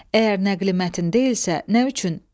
Əgər nəqli mətn deyilsə, nə üçün?